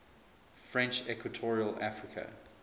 french equatorial africa